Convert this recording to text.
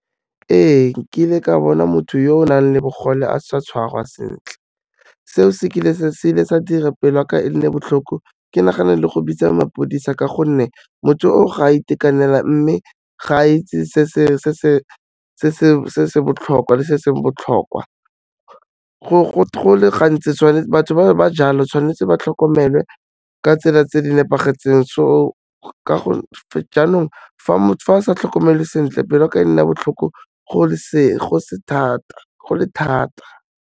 Ee, nkile ka bona motho yo o nang le bogole a sa tshwarwa sentle, seo se kile sa dira pelo ya ka e nne botlhoko ke nagana le go bitsa mapodisa ka gonne motho o ga itekanela mme ga a itse se se botlhokwa le se seng botlhokwa. go le gantsi tshwanetse batho ba jalo tshwanetse ba tlhokomelwe ka tsela tse di nepagetseng, so jaanong, fa ba sa tlhokomelwe sentle pelo ya ka e nna botlhoko go le thata.